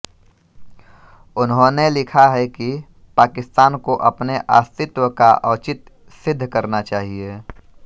उन्होंने लिखा है कि पाकिस्तान को अपने अस्तित्व का औचित्य सिद्ध करना चाहिये